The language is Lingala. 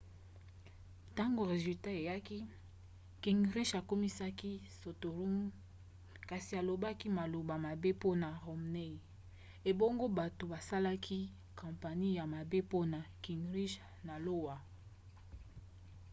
ntango resultat eyaki gingrich akumisaki santorum kasi alobaki maloba mabe mpona romney ebongo bato basalaki kampanie ya mabe mpona gingrich na iowa